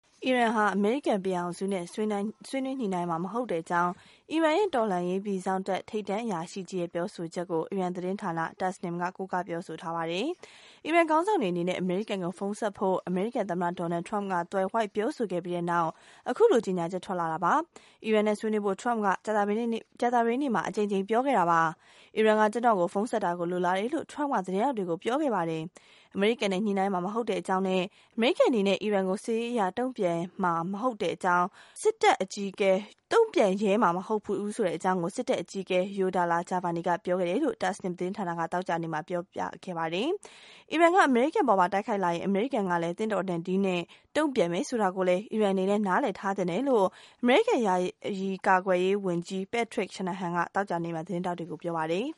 အီရန်ဟာ အမေရိကန်ပြည်ထောင်စုနဲ့ ဆွေးနွေးညှိနှိုင်းမှာ မဟုတ်ကြောင်း အီရန်ရဲ့ တော်လှန်ရေးပြည်စောင့်တပ် ထိပ်တန်းအရာကြီးရဲ့ ပြောဆိုချက်ကို အီရန်သတင်းဌာန Tasnim က ကိုးကား ဖော်ပြထားပါတယ်။ အီရန်ခေါင်းဆောင်တွေအနေနဲ့ အမေရိကန်ကို ဖုန်းဆက်ဖို့ အမေရိကန်သမ္မတ Donald Trump က သွယ်ဝှိက်ပြောဆိုခဲ့ပြီးတဲ့နောက် အခုလို ကြေညာချက် ထွက်ပေါ်လာတာပါ။ အီရန်နဲ့ ဆွေးနွေးဖို့ Trump က ကြာသပတေးနေ့မှာ အကြိမ်ကြိမ် ပြောဆိုခဲ့တာပါ။ အီရန်က ကျနော့်ကို ဖုန်းဆက်တာကို လိုလားတယ်လို့ Trump က သတင်းထောက်တွေကို ပြောခဲ့တာပါ။ အမေရိကန်နဲ့ ညှိနှိုင်းမှာ မဟုတ်ကြောင်းနဲ့ အမေရိကန်အနေနဲ့ အီရန်ကို စစ်ရေးအရ တုံ့ပြန်ရဲမှာ မဟုတ်ကြောင်း စစ်တပ်အကြီးအကဲ Yadollah Javani ပြောခဲ့တာကို Tasnim သတင်းဌာနက သောကြာနေ့မှာ ဖော်ပြခဲ့တာပါ။ အီရန်က အမေရိကန်အပေါ် တိုက်ခိုက်လာရင် အမေရိကန်ကလည်း သင့်တော်တဲ့ နည်းနဲ့ တုံ့ပြန်မယ်ဆိုတာကို အီရန်အနေနဲ့ နားလည်သင့်ကြောင်း အမေရိကန် ယာယီကာကွယ်ရေးဝန်ကြီး Patrick Shanahan က သောကြာနေ့မှာ သတင်းထောက်တွေကို ပြောပါတယ်။